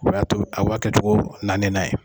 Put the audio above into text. O y'a to aw b'a kɛcogo naani nan ye.